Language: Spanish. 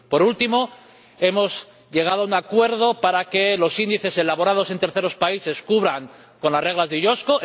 Por último, hemos llegado a un acuerdo para que los índices elaborados en terceros países cumplan con las reglas de la OICV.